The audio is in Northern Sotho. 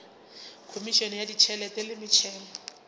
khomišene ya ditšhelete le metšhelo